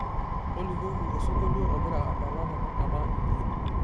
tolikioki osingolio ogira adala tenakata nji